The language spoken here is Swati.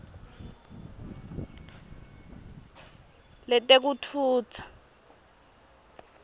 letekutfutsa